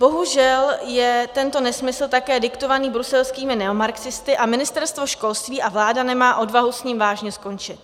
Bohužel je tento nesmysl také diktovaný bruselskými neomarxisty a Ministerstvo školství a vláda nemá odvahu s ním vážně skončit.